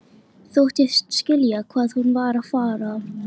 Þóttist skilja hvað hún var að fara.